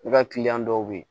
I ka kiliyan dɔw bɛ yen